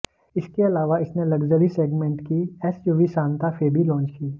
इसके अलाव इसने लग्जरी सेगमेंट की एसयूवी सांता फे भी लॉन्च की